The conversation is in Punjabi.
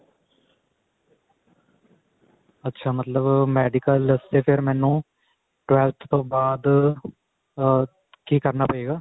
ਅੱਛਾ ਮਤਲਬ medical ਵਾਸਤੇ ਫੇਰ ਮੈਨੂੰ twelve ਤੋਂ ਬਾਅਦ ਮੈਨੂੰ ਕਿ ਕਰਨਾ ਪਏਗਾ